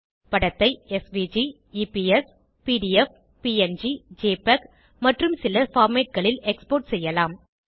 படத்தை SVG EPS PDF PNG JPEG மற்றும் சில பார்மேட் களில் எக்ஸ்போர்ட் செய்யலாம்